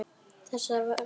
Þessa þarftu við.